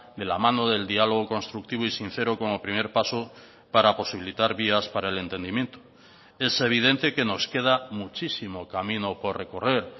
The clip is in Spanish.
de la mano del diálogo constructivo y sincero como primer paso para posibilitar vías para el entendimiento es evidente que nos queda muchísimo camino por recorrer